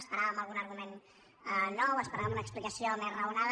esperàvem algun argument nou esperàvem una explicació més raonada